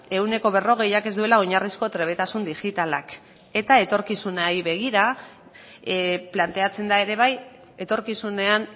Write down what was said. ehuneko berrogeiak ez duela oinarrizko trebetasun digitalak eta etorkizunari begira planteatzen da ere bai etorkizunean